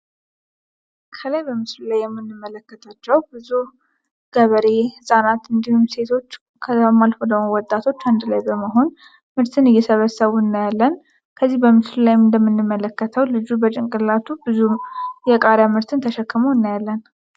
ከላይ በምስሉ ላይ የምንመለከታቸው ብዙ ገበሬ ህጻናት እንዲሁም ሴቶች ከዛም አልፎ ደግሞ ወጣቶች አንድ ላይ በመሆን ምርትን እየሰበሰቡ እናያለን። ከዚህ በምስሉ ላይም እንደምንመለከተው ልጁ በጭንቅላቱ ብዙ የቃሪያ ምርትን ተሸክሞ እናያለን።